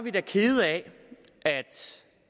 er da kede af